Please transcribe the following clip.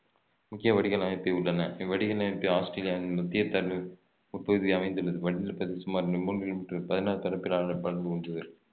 முக்கிய வடிகால் அமைப்பு உள்ளன இவ்வடிகால் அமைப்பு ஆஸ்திரேலியாவின் உட்பகுதியில் அமைந்துள்ளது இவ்வடிநிலப்பகுதி சுமார் மூன்று